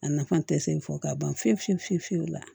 A nafa tɛ se fɔ ka ban fiyewu fiyewu fiyewu la